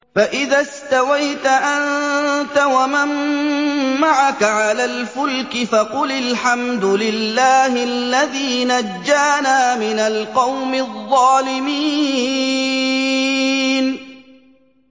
فَإِذَا اسْتَوَيْتَ أَنتَ وَمَن مَّعَكَ عَلَى الْفُلْكِ فَقُلِ الْحَمْدُ لِلَّهِ الَّذِي نَجَّانَا مِنَ الْقَوْمِ الظَّالِمِينَ